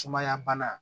Sumaya bana